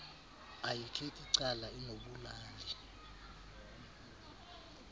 ayikhethi cala inobulali